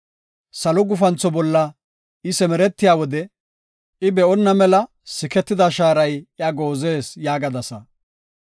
Salo gufantho bolla I simeretiya wode, I be7onna mela siketida shaaray iya goozees’ yaagasa.